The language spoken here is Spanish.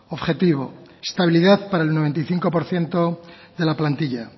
objetivo estabilidad para el noventa y cinco por ciento de la plantilla